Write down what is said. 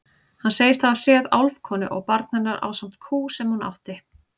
Hann segist hafa séð álfkonu og barn hennar ásamt kú sem hún átti.